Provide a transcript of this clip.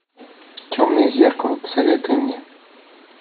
темное зеркало посоветуй мне